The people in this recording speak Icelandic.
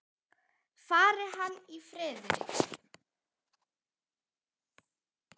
Fari hann í friði.